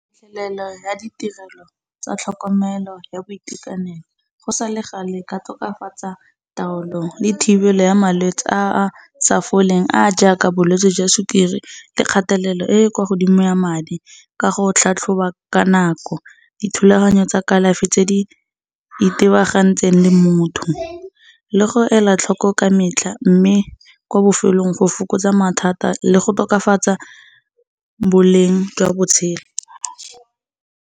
Fitlhelelo ya ditirelo tsa tlhokomelo ya boitekanelo, go sa le ga le e ka tokafatsa taolo le thibelo ya malwetsi a a sa foleng a a ja ka bolwetsi jwa sukiri, le kgatelelo e e ko godimo ya madi, ka go tlhatlhoba ka nako. Dithulaganyo tsa kalafi tse di itebagantseng le motho le go ela tlhoko ka metlha, mme kwa bofelelong go fokotsa mathata le go tokafatsa boleng jwa botshelo.